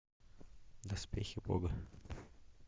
доспехи бога